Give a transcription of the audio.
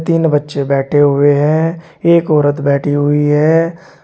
तीन बच्चे बैठे हुए हैं एक औरत बैठी हुई है।